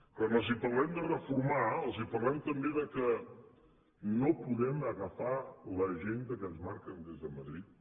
quan els parlem de reformar els parlem també del fet que no podem agafar l’agenda que ens marquen des de madrid